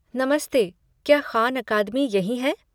नमस्ते, क्या ख़ान अकादमी यहीं है?